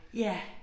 Ja